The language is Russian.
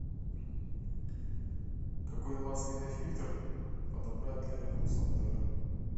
какой масляный фильтр подобрать для рено сандеро